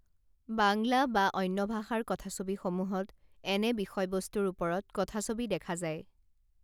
বাংলা বা অন্য ভাষাৰ কথাছবিসমূহত এনে বিষয়বস্তুৰ ওপৰত কথাছবি দেখা যায়